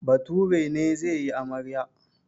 Bature ne zai yi amarya.